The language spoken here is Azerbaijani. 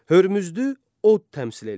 Hörmüzdü od təmsil eləyir.